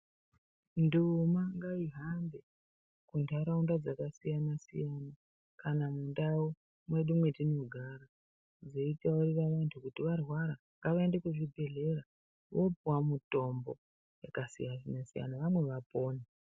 Nduma ngaihambe mundaraunda dzakasiyana siyana kana mundau mwedu metinogara dzeitaurira vantu kuti varwara ngavaende kuzvibhedhlera vopuwa mutombo yakasiyana siyana vamwe vapone.